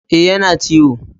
E, yana ciwo.